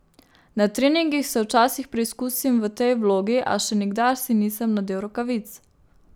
Na treningih se včasih preizkusim v tej vlogi, a še nikdar si nisem nadel rokavic.